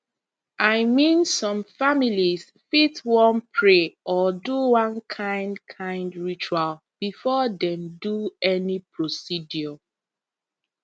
i mean some families fit wan pray or do one kind kind ritual before dem do any procedure